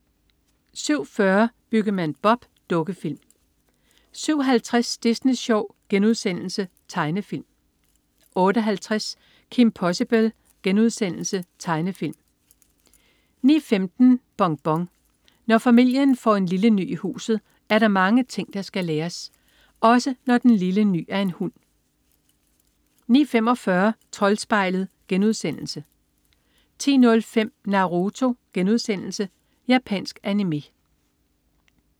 07.40 Byggemand Bob. Dukkefilm 07.50 Disney Sjov.* Tegnefilm 08.50 Kim Possible.* Tegnefilm 09.15 Bonbon. Når familien får en lille ny i huset, er der mange ting, der skal læres. Også når den lille ny er en hund 09.45 Troldspejlet* 10.05 Naruto.* Japansk animé